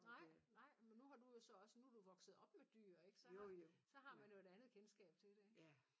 Nej nej men nu har du jo så også nu du vokset op med dyr ikke så har så har man jo et andet kendskab til det ikke